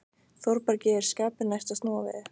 Þórbergi er skapi næst að snúa við.